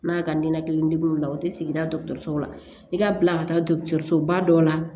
N'a ka nin na kelen deguw la o tɛ sigida dɔ la i ka bila ka taa dɔgɔtɔrɔso ba dɔ la